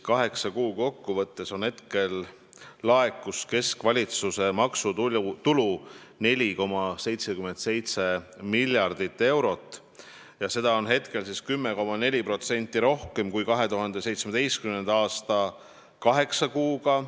Kaheksa kuu peale kokku laekus keskvalitsuse maksutulu 4,77 miljardit eurot, mis on 10,4% rohkem, kui laekus 2017. aasta kaheksa kuuga.